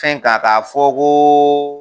Fɛn k'a k'a fɔ ko